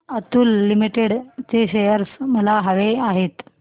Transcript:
Atul limited चे shares मला हवे आहेत